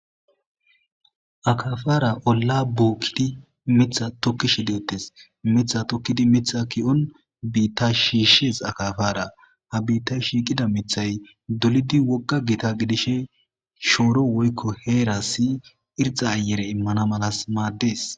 Akafara olla buokkidi mitha tokkishi deettes mitha tokkidi mitha ki'on biitta shiishshes akafara ha biitta shiiqida mithay dolidi wogga gita gidishe shooro woykko heera si irxa ayere immana malas maaddes.